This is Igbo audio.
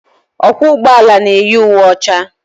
Ọkwọ ụgbọelu na-eyi uwe ọcha.